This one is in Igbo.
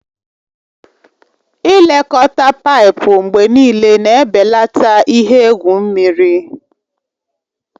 Ị lekọta paipu mgbe niile na-ebelata ihe egwu mmiri.